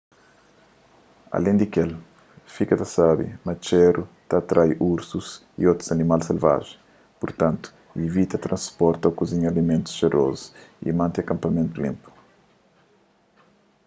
alen di kel fika ta sabe ma txéru ta atrai ursus y otus animal selvajen purtantu ivita transporta ô kuzinha alimentus xerozu y mante akanpamentu linpu